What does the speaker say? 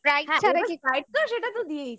sprite তো সেটা তো দিয়েইছে